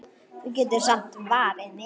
Þú getur samt varið mig.